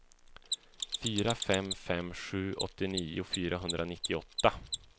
fyra fem fem sju åttionio fyrahundranittioåtta